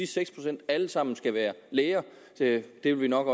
seks procent alle sammen skal være læger det vil vi nok